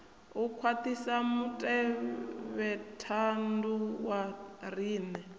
u khwaṱhisa mutevhethandu wa riṋe